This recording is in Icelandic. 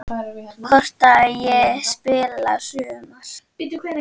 Hvort ég spili í sumar?